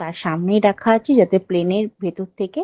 তার সামনে দেখাচ্ছি যাতে প্লেন -এর ভেতর থেকে --